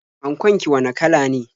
Ankon ki wane kala ne?